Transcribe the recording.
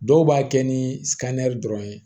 Dɔw b'a kɛ ni dɔrɔn ye